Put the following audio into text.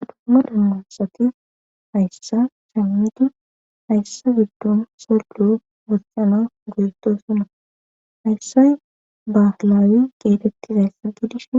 hadomma dammassati hayssa shamitu hayssa giddon sollo gosxana goeto suna hayssay baflaawi qeetettizayssa gidishi